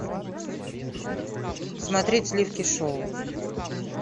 смотреть сливки шоу